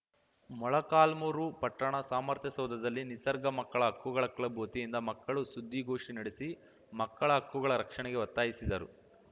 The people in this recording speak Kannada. ಮೊಳಕಾಲ್ಮುರು ಪಟ್ಟಣ ಸಾಮರ್ಥ್ಯ ಸೌಧದಲ್ಲಿ ನಿಸರ್ಗ ಮಕ್ಕಳ ಹಕ್ಕುಗಳ ಕ್ಲಬ್‌ ವತಿಯಿಂದ ಮಕ್ಕಳು ಸುದ್ದಿಗೋಷ್ಟಿನಡೆಸಿ ಮಕ್ಕಳ ಹಕ್ಕುಗಳ ರಕ್ಷಣೆಗೆ ಒತ್ತಾಯಿಸಿದರು